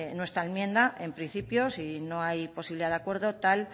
nuestra enmienda en principio si no hay posibilidad de acuerdo tal